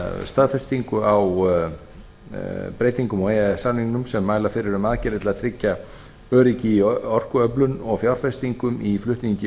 staðfestingu á breytingum á e e s samningnum sem mæla fyrir um aðgerðir til að tryggja öryggi í orkuöflun og fjárfestingum í flutningi